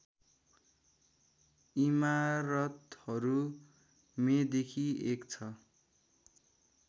इमारतहरू मेदेखि एक छ